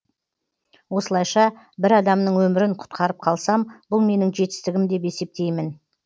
осылайша бір адамның өмірін құтқарып қалсам бұл менің жетістігім деп есептейм